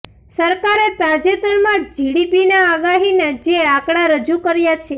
સરકારે તાજેતરમાં જ જીડીપીના આગાહીના જે આંકડા રજૂ કર્યા છે